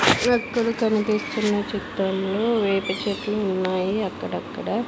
వెక్కల కనిపిస్తున్న చిత్రంలో వేప చెట్లు ఉన్నాయి అక్కడక్కడ.